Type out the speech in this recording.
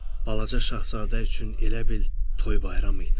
Balaca Şahzadə üçün elə bil toy-bayram idi.